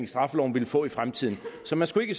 straffeloven ville få i fremtiden så man skulle ikke